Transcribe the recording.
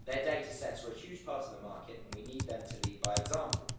Their data sets were huge parts of the market and we need them to lead by example.